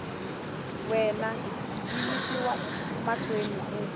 wena yi yisiwa mahlweni ku